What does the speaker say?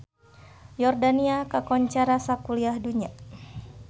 Yordania kakoncara sakuliah dunya